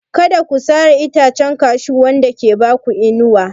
Kada a sare itacen Cashew wanda ke ba ku inuwa.